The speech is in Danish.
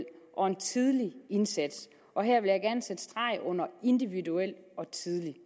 og en tidlig indsats og her vil jeg gerne sætte streg under individuel og tidlig